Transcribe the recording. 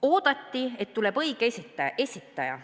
Oodati, et tuleb õige esitaja.